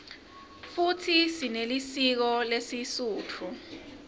futsi sinelisiko lesisutfu